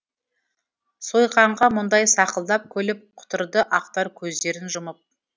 сойқанға мұндай сақылдап күліп құтырды ақтар көздерін жұмып